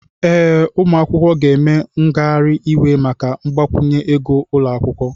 Ee, ụmụ akwụkwọ ga-eme ngagharị iwe maka mgbakwunye ego ụlọ akwụkwọ.